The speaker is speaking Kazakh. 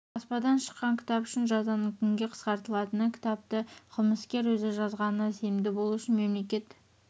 баспадан шыққан кітап үшін жазаның күнге қысқартылатыны кітапты қылмыскер өзі жазғанына сенімді болуы үшін мемлекет